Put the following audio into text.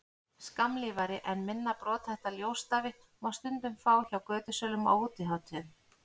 skammlífari en minna brothætta ljósstafi má stundum fá hjá götusölum á útihátíðum